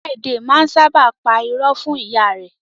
Friday máa n sábà pa irọ́ fún ìyá rẹ.